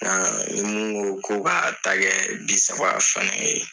Nka ni mun ko ko k'a ta kɛ bi saba fana ye.